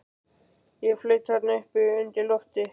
Ég flaut þarna uppi undir lofti.